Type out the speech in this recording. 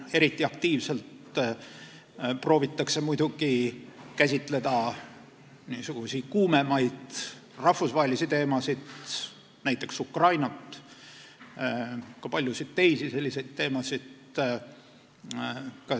Eriti aktiivselt proovitakse muidugi käsitleda kuumemaid rahvusvahelisi teemasid, näiteks Ukrainat ja paljusid teisi selliseid teemasid.